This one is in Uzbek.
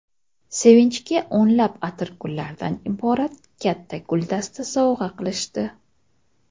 Sevinchga o‘nlab atirgullardan iborat katta guldasta sovg‘a qilishdi.